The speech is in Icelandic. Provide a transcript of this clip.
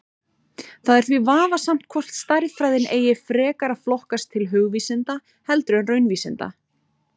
Það er því vafasamt hvort stærðfræðin eigi frekar að flokkast til hugvísinda heldur en raunvísinda.